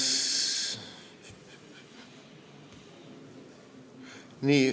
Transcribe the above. Nii.